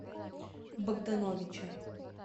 богдановича